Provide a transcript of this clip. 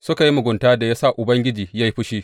Suka yi muguntan da ya sa Ubangiji ya yi fushi.